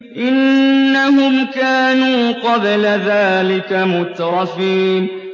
إِنَّهُمْ كَانُوا قَبْلَ ذَٰلِكَ مُتْرَفِينَ